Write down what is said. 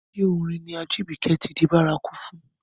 Ṣé orin ni Ajibike ti di bárakú fún?